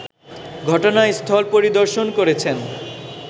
ঘটনাস্থল পরিদর্শন করেছেন